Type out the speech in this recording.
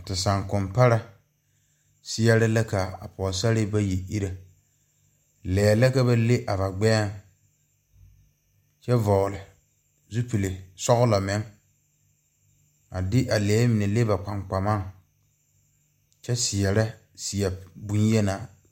Te sankompare seɛre la ka a pɔɔsarre bayi ire lɛɛ la ka ba le a ba gbɛɛŋ kyɛ vɔgle zupile sɔglɔ meŋ a de a lɛɛ mine le ba kpankpamaŋ kyɛ seɛrɛ seɛ bonyenaa.